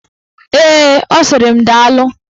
Ee, ọ sịrị m daalụ.